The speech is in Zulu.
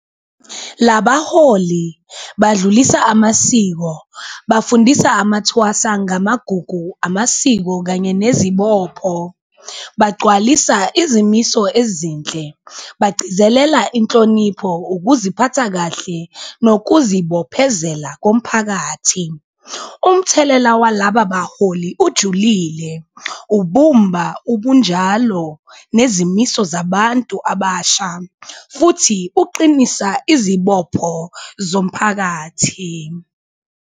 Labaholi badlulisa amasiko, bafundisa amathwasa ngamagugu, amasiko kanye nezibopho, bagcwalisa izimiso ezinhle, bagcizelela inhlonipho, ukuziphatha kahle nokuzibophezela komphakathi. Umthelela walaba baholi ujulile ubumba ubunjalo nezimiso zabantu abasha futhi ukuqinisa izibopho zomphakathi.